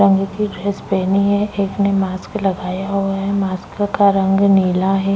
की ड्रेस पहनी है एक ने मास्क लगाया हुआ है मास्क का रंग नीला है।